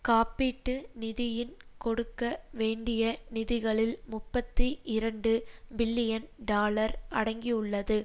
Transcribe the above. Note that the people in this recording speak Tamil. காப்பீட்டு நிதியின் கொடுக்க வேண்டிய நிதிகளில் முப்பத்தி இரண்டு பில்லியன் டாலர் அடங்கியுள்ளது